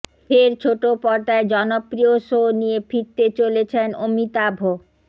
ফের ছোট পর্দায় জনপ্রয় শো নিয়ে ফিরতে চলেছেন অমিতাভ